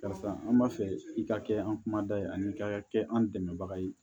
Karisa an b'a fɛ i ka kɛ an kumada ye ani ka kɛ an dɛmɛbaga ye